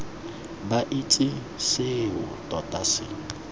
ba itse seo tota se